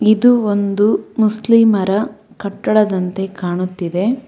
ಇದು ಒಂದು ಮುಸ್ಲಿಮರ ಕಟ್ಟಡದಂತೆ ಕಾಣುತ್ತಿದೆ.